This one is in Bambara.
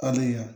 Hali yan